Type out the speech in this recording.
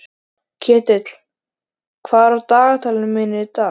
Ketill, hvað er á dagatalinu mínu í dag?